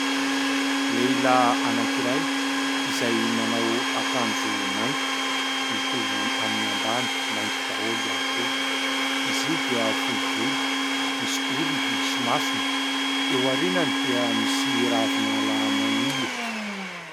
Lehilahy anankiray izay manao akanjo mainty mitovy amin'ny ambany, mainty daholo ihany koa. Izy io dia fohy volo, misy orona, misy masony, eo aoriany dia misy Ravinala maniry.